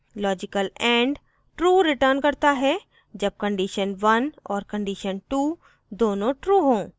* logical and true returns होता है जब कंडीशन 1 और कंडीशन 2 दोनों true हों